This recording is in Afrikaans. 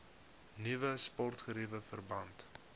nuwe sportgeriewe verband